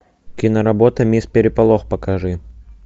киноработа мисс переполох покажи